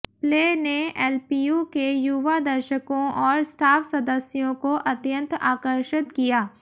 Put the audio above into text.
play ने LPU के युवा दर्शकों और स्टाफ सद्सयों को अत्यंत आकर्षित किया